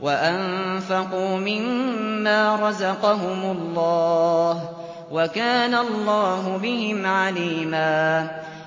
وَأَنفَقُوا مِمَّا رَزَقَهُمُ اللَّهُ ۚ وَكَانَ اللَّهُ بِهِمْ عَلِيمًا